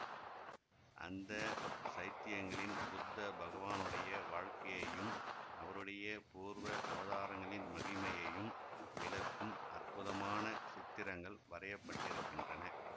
அந்த சைத்தியங்களில் புத்த பகவானுடைய வாழ்க்கையையும் அவருடைய பூர்வ அவதாரங்களின் மகிமையையும் விளக்கும் அற்புதமான சித்திரங்கள் வரையப்பட்டிருக்கின்றன